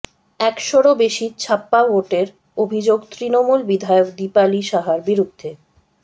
একশোরও বেশি ছাপ্পা ভোটের অভিযোগ তৃণমূল বিধায়ক দীপালি সাহার বিরুদ্ধে